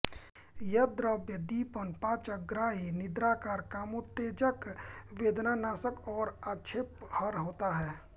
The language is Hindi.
ये द्रव्य दीपन पाचन ग्राही निद्राकर कामोत्तेजक वेदनानाशक और आक्षेपहर होते हैं